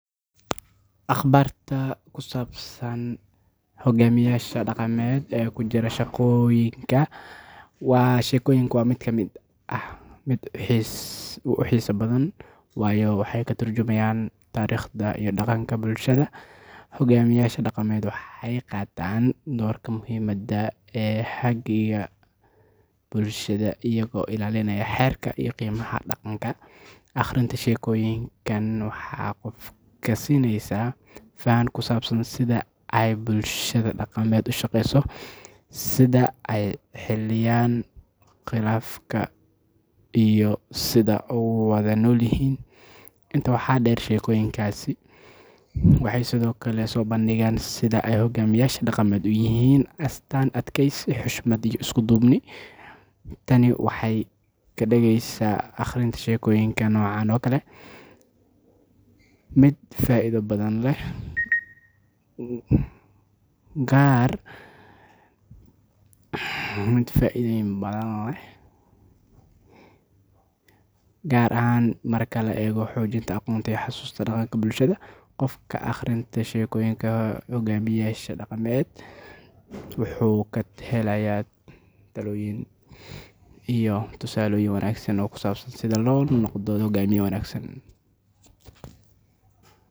Akhbaarta ku saabsan hogaamiyayaasha dhaqameed ee ku jira sheekooyinka waa mid aad u xiiso badan, waayo waxay ka tarjuntaan taariikhda iyo dhaqanka bulshada. Hogaamiyayaasha dhaqameed waxay qaataan doorka muhiimka ah ee hagidda bulshada iyaga oo ilaalinaya xeerarka iyo qiyamka dhaqanka. Akhrinta sheekooyinkan waxay qofka siinaysaa faham ku saabsan sida ay bulshada dhaqameed u shaqeyso, sida ay u xaliyaan khilaafaadka, iyo sida ay ugu wada noolyihiin. Intaa waxaa dheer, sheekooyinkaasi waxay sidoo kale soo bandhigaan sida ay hogaamiyayaasha dhaqameed u yihiin astaan adkeysi, xushmad, iyo isku duubni. Tani waxay ka dhigaysaa akhrinta sheekooyinka noocan oo kale ah mid faa'iido badan leh, gaar ahaan marka la eego xoojinta aqoonta iyo xusuusta dhaqanka bulshada. Qofka akhriya sheekooyinka hogaamiyayaasha dhaqameed wuxuu ka helayaa talooyin iyo tusaalooyin wanaagsan oo ku saabsan sida loo noqdo hoggaamiye wanaagsan.